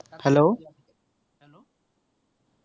hello